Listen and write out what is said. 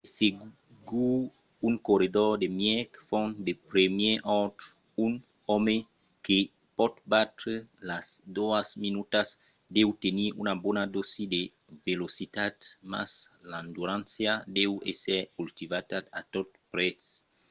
de segur un corredor de mièg fons de primièr òrdre un òme que pòt batre las doas minutas deu tenir una bona dòsi de velocitat mas l'endurança deu èsser cultivada a tot prètz